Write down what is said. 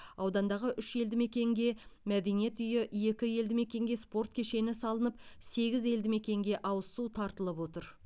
аудандағы үш елді мекенге мәдениет үйі екі елді мекенге спорт кешені салынып сегіз елді мекенге ауыз су тартылып отыр